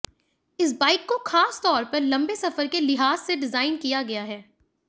इस बाइक को खास तौर पर लंबे सफर के लिहाज से डिजाइन किया गया है